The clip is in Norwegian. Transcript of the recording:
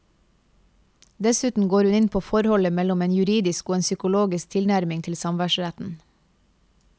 Dessuten går hun inn på forholdet mellom en juridisk og en psykologisk tilnærming til samværsretten.